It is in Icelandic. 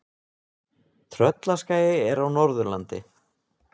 Tröllaskagi er á Norðurlandi.